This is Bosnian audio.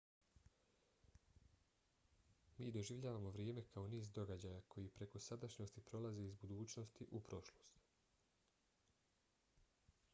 mi doživljavamo vrijeme kao niz događaja koji preko sadašnjosti prolaze iz budućnosti u prošlost